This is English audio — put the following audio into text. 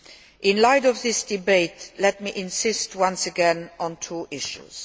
In the light of this debate, let me insist once again on two issues.